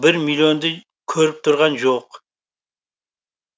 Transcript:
бір миллионды көріп тұрған жоқ